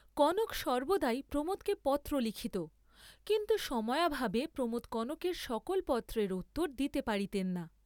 কনক সর্ব্বদাই প্রমোদকে পত্র লিখিত, কিন্তু সময়াভাবে প্রমোদ কনকের সকল পত্রের উত্তর দিতে পারিতেন না।